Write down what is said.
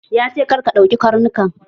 Ya ce "Kar ka duke Karnukan"!